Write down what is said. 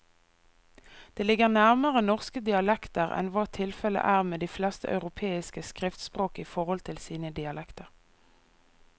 Det ligger nærmere norske dialekter enn hva tilfellet er med de fleste europeiske skriftspråk i forhold til sine dialekter.